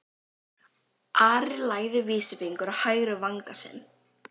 Ari lagði vísifingur á hægri vanga sinn.